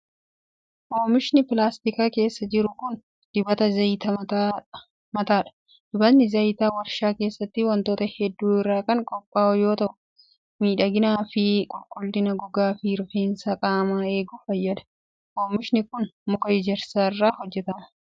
Oomishni pilaastika keessa jiru kun, dibata zayita mataa dha. Dibatni zayitaa warshaa keessatti wantoota hedduu irraa kan qophaa'u yoo ta'u, miidhagina fi qulqullina gogaa fi rifeensa qaamaa eeguuf fayyada. Oomishni kun, muka ejersaa irraa hojjatama.